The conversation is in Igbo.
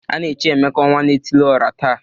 A na-echi Emeka ọnwa-na-etili-ọra taa.